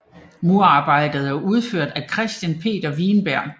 Murerarbejdet er udført af Christian Peter Wienberg